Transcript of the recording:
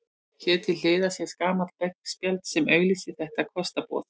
Hér til hliðar sést gamalt veggspjald sem auglýsir þetta kostaboð.